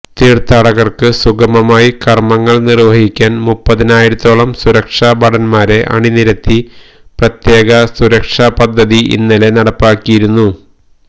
തീര്ഥാടകര്ക്ക് സുഗമമായി കര്മങ്ങള് നിര്വഹിക്കാന് മുപ്പതിനായിരത്തോളം സുരക്ഷാ ഭടന്മാരെ അണിനിരത്തി പ്രത്യേക സുരക്ഷാ പദ്ധതി ഇന്നലെ നടപ്പിലാക്കിയിരുന്നു